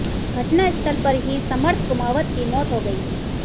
घटनास्थल पर ही समर्थ कुमावत की मौत हो गई